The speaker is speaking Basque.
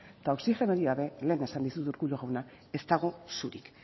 eta oxigenorik gabe lehen esan dizut urkullu jauna ez dago surik